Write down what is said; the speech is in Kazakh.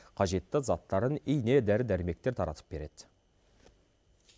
қажетті заттарын ине дәрі дәрмектер таратып береді